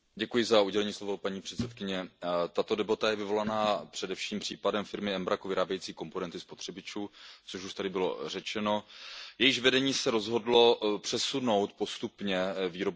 Paní předsedající, tato debata je vyvolaná především případem firmy Embraco vyrábějící komponenty spotřebičů, což už tady bylo řečeno, jejíž vedení se rozhodlo přesunout výrobu postupně na Slovensko.